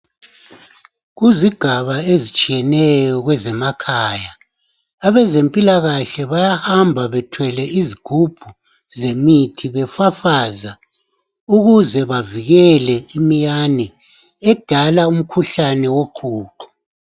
Kuzigaba ezitshiyeneyo kwezemakhaya abezempilakahle bayahamba bathwele izigubhu zemithi befafaza ukuze bavikele imiyane edala umkhuhlane woqhuqho.